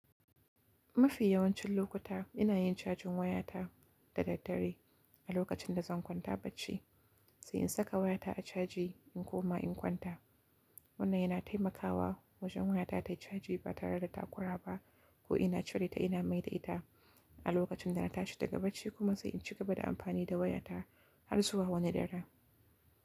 Mafi yawancin lokuta ina yin cajin wayata da daddare a lokacin da zan kwanta bacci, sai in saka wayata a caji in koma in kwanta. Wannan yana taimakawa wajen wayata tayi caji ba tare da ta kura ba ko ina cire ta ina maida ita a lokacin da na tashi daga bacci kuma sai in cigaba da amfani da wayata har zuwa wani dare.